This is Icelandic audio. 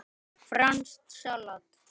Franskt salat